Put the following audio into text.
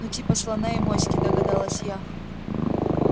ну типа слона и моськи догадалась я